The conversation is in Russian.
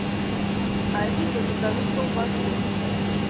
алиса закажи колбасы